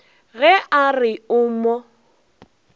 ge a re o mo